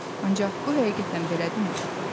Ancaq bu həqiqətən belədirmi?